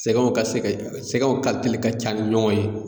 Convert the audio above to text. Sɛgɛnw ka se ka sɛgɛnw kalite ka ca ni ɲɔgɔn ye.